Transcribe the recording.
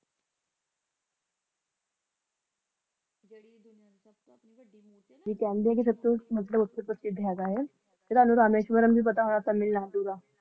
ਤੇ ਕਹਿੰਦੇ ਸਬ ਤੋਂ ਸਾਬਿਸ਼ਟ ਹੈ ਤੇ ਭੀ ਪਤਾ ਹੋਗਾ ਕਾਮਿਲ ਨਾਦੁ ਦਾ